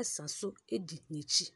ɛsa so edi n'akyi.